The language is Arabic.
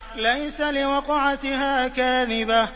لَيْسَ لِوَقْعَتِهَا كَاذِبَةٌ